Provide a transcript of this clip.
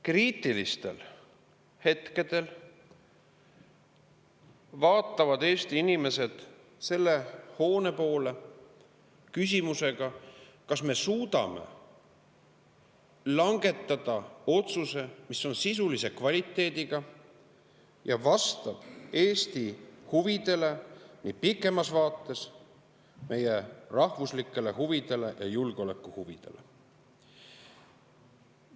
Kriitilistel hetkedel vaatavad Eesti inimesed selle hoone poole küsimusega, kas me suudame langetada otsuse, mis on sisulise kvaliteediga ja vastab Eesti huvidele, pikemas vaates meie rahvuslikele huvidele ja julgeolekuhuvidele.